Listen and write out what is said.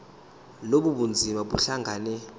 lobu bunzima buhlangane